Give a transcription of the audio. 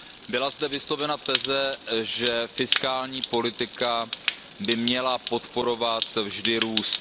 Byla zde vyslovena teze, že fiskální politika by měla podporovat vždy růst.